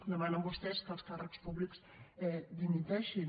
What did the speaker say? demanen vostès que els càrrecs públics dimiteixin